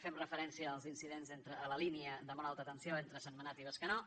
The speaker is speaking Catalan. fem referència als incidents a la línia de molt alta tensió entre sentmenat i bescanó